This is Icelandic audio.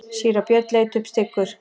Síra Björn leit upp styggur.